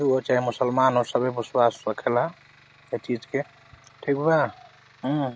हिन्दू हो चाहे मुस्लमान हो सभी विश्वास रखेला। एह चीज़ के ठीक बा। हं।